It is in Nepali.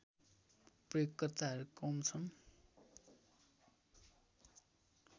प्रयोगकर्ताहरू कम छन्